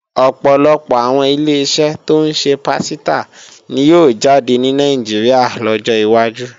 Ọ̀pọ̀lọpọ̀ àwọn Ileṣẹ́ tó ń ṣe pásítà ni yóò jáde ní Nàìjíríà lọ́jọ́ wájú